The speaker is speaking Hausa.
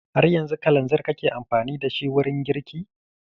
Har yanzu kalanzir kake amfani da shi wurin girki?